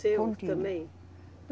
Seu também?